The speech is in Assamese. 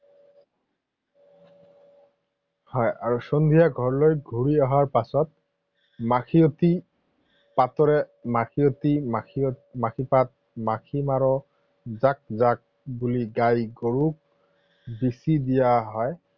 হয় আৰু সন্ধিয়া ঘৰলৈ ঘূৰি অহাৰ পাছত মাখিয়তী পাতেৰে মাখিয়তী মাখিপাত, মাখি মাৰো জাক জাক বুলি গাই গৰুক বিছি দিয়া হয়